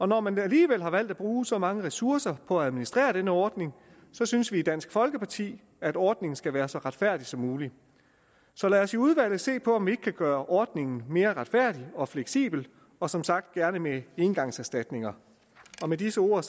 når man alligevel har valgt at bruge så mange ressourcer på at administrere denne ordning synes vi i dansk folkeparti at ordningen skal være så retfærdig som muligt så lad os i udvalget se på om vi ikke kan gøre ordningen mere retfærdig og fleksibel og som sagt gerne med engangserstatninger med disse ord